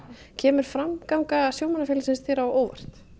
kemur framganga sjómannafélagsins þér á óvart